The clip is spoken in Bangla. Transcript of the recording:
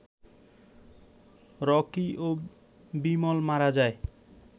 রকি ও বিমল মারা যায়